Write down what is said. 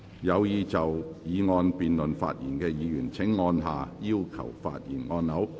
有意就議案辯論發言的議員請按下"要求發言"按鈕。